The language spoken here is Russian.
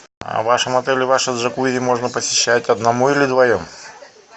а в вашем отеле ваше джакузи можно посещать одному или вдвоем